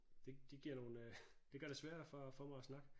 det det giver nogen øh det gør det sværere for for mig at snakke